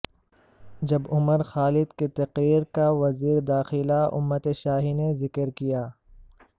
جب عمر خالد کی تقریر کا وزیر داخلہ امت شاہنے ذکر کیا